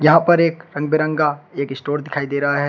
यहां पर एक रंग बिरंगा एक स्टोर दिखाई दे रहा है।